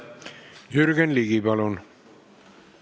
Jürgen Ligi, palun!